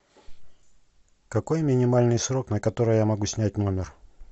какой минимальный срок на который я могу снять номер